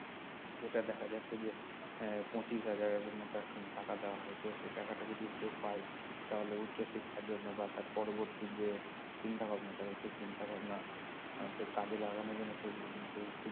সেটা দেখা যাচ্ছে যে এর পঁচিশ হাজার মত একখানা টাকা দেওয়া হয় তো সে টাকাটা যদি কেউ পায় তাহলে উচ্চ শিক্ষার জন্য বা তার পরবর্তি যে চিন্তা ভাবনাটা রয়েছে সে চিন্তা ভাবনা আহ তে কাজে লাগানোর জন্য সেগুলো কিন্তু খুব